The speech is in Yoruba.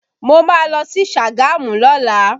Mo má lọ sí Sagamu lọ́la